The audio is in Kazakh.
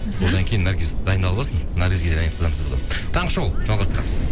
мхм одан кейін наргиз дайындалып алсын наргизге де ән айтқызамыз бүгін таңғы шоу жалғастырамыз